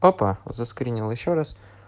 папа заскринил ещё раз